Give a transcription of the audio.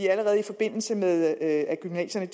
allerede i forbindelse med at gymnasierne